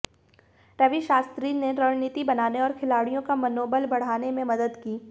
रवि शास्त्री ने रणनीति बनाने और खिलाड़ियों का मनोबल बढाने में मदद की